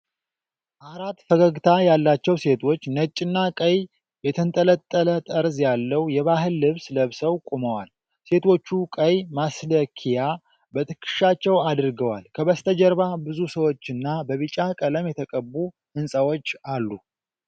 አራት ፈገግታ ያላቸው ሴቶች ነጭና ቀይ የተንጠለጠለ ጠርዝ ያለው የባህል ልብስ ለብሰው ቆመዋል። ሴቶቹ ቀይ ማስልከያ በትከሻቸው አድርገዋል። ከበስተጀርባ ብዙ ሰዎችና በቢጫ ቀለም የተቀቡ ሕንፃዎች አሉ።